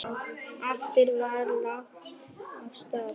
Aftur var lagt af stað.